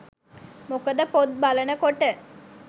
මොකද පොත් බලන කොට